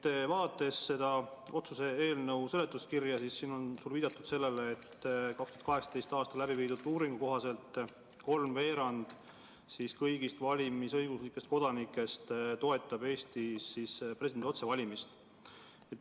Kui vaadata selle otsuse eelnõu seletuskirja, siis siin on viidatud, et 2018. aastal läbi viidud uuringu kohaselt toetas kolmveerand kõigist valimisõiguslikest kodanikest Eestis presidendi otsevalimist.